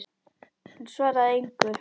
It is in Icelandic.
Hún svaraði engu.